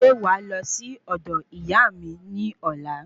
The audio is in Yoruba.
Ṣe wàá lọ si ọdọ Iyaami ni ọlá?